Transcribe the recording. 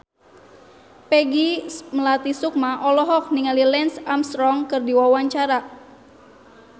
Peggy Melati Sukma olohok ningali Lance Armstrong keur diwawancara